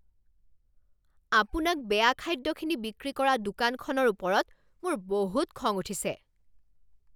আপোনাক বেয়া খাদ্যখিনি বিক্ৰী কৰা দোকানখনৰ ওপৰত মোৰ বহুত খং উঠিছে।